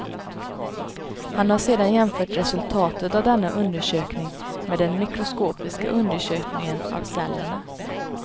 Han har sedan jämfört resultatet av denna undersökning med den mikroskopiska undersökningen av cellerna.